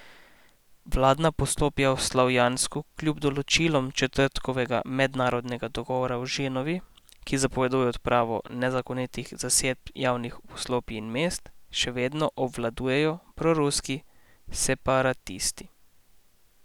Vladna poslopja v Slavjansku kljub določilom četrtkovega mednarodnega dogovora v Ženevi, ki zapoveduje odpravo nezakonitih zasedb javnih poslopij in mest, še vedno obvladujejo proruski separatisti.